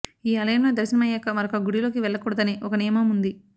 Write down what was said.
ఈ ఆలయంలో దర్శనం అయ్యాక మరొక గుడిలోకి వెళ్లకూడదని ఒక నియమం ఉంది